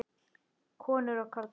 Konur og karlar.